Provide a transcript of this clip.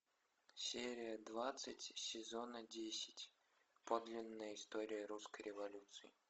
серия двадцать сезона десять подлинная история русской революции